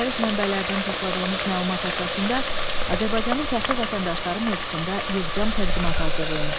Müxtəlif mənbələrdən topladığınız məlumat əsasında Azərbaycanın fəxri vətəndaşları mövzusunda yığcam təqdimat hazırlayın.